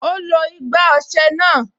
Ó lo igbá ọsẹ náà